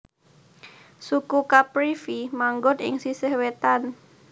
Suku Caprivi manggon ing sisih wétan